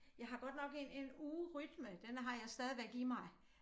Jeg har godt nok en en ugerytme den har jeg stadigvæk i mig